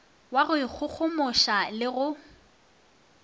wa go ikgogomoša le go